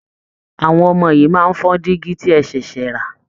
Àwọn ọmọ yìí máa fọ dígi tí ẹ ṣẹ̀ẹṣẹ̀ rẹ